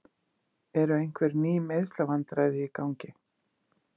Eru einhver ný meiðslavandræði í gangi?